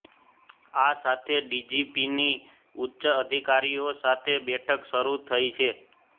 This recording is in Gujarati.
આ સાથે ડીજીપીની ઉચ્ચ અધિકારીઓ સાથે બેઠક શરૂ થઈ છે